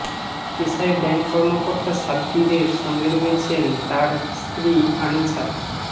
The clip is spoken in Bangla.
পেশায় ব্যাংক কর্মকর্তা সাব্বিরের সঙ্গে রয়েছেন তাঁর স্ত্রী আনিছা